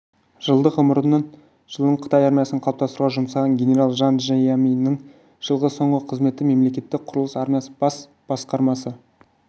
жылдық ғұмырының жылын қытай армиясын қалыптастыруға жұмсаған генерал жан жия миннің жылғы соңғы қызметі-мемлекеттік құрылыс армиясы бас басқармасы